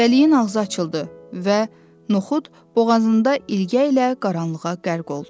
Dəliyin ağzı açıldı və Noxud boğazında ilgəylə qaranlığa qərq oldu.